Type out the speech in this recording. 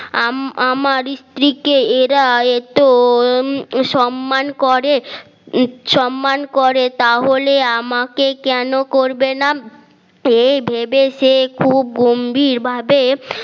আমার স্ত্রীকে এরা এতো সম্মান করে সম্মান করে তাহলে আমাকে কেন করবে না এই ভেবে সে খুব গম্ভীর ভাবে